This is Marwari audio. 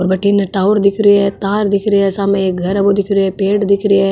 और बठन टावर दिख रो है तार दिख रो है साम एक घर है बो दिख रो है पेड़ दिख रा है।